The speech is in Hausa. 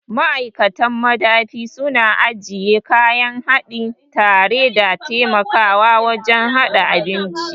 Ma'aikatan madafi suna ajiye kayan haɗi tare da taimakawa wajen haɗa abinci.